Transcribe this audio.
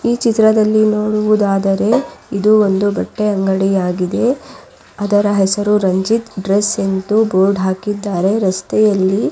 ಈ ಚಿತ್ರದಲ್ಲಿ ನೋಡುವುದಾದರೆ ಇದು ಒಂದು ಬಟ್ಟೆಯ ಅಂಗಡಿ ಆಗಿದೆ ಅದರ ಹೆಸರು ರಂಜಿತ್ ಡ್ರೆಸ್ ಎಂದು ಬೋರ್ಡ್ ಹಾಕಿದ್ದಾರೆ ರಸ್ತೆಯಲ್ಲಿ --